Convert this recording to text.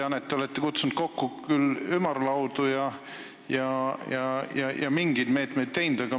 Ma tean, et te olete kutsunud kokku ümarlaudu ja mingeid meetmeid kasutusele võtnud.